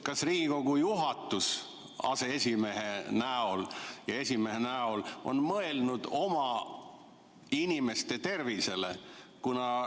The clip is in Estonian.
Kas Riigikogu juhatus aseesimehe ja esimehe näol on mõelnud oma inimeste tervisele?